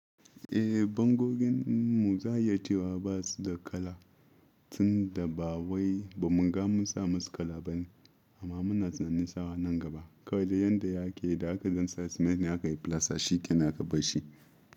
Eh, bangogin mu za a yi ta wa ba su da kala tun da ba wai bamu riga mun sa musu kala ba ne. Amma muna tunanin sawa nan gaba. Kawai yadda ya ke, da aka ɗan sa cement ne aka yi filasta shi ke nan aka bar shi.